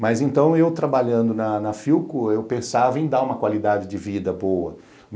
Mas então, eu trabalhando na Philco, eu pensava em dar uma qualidade de vida boa.